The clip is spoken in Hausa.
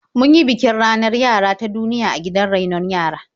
Mun yi bikin ranar yara ta duniya a gidan rainon yara.